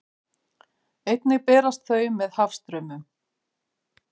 Einnig berast þau með hafstraumum.